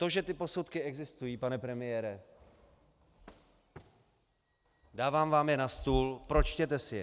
To, že ty posudky existují, pane premiére, dávám vám je na stůl, pročtěte si je.